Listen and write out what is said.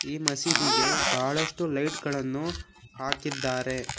ಈ ಮಸೀದಿಗೆ ಬಹಳಷ್ಟು ಲೈಟ್ ಗಳನ್ನು ಹಾಕಿದ್ದಾರೆ.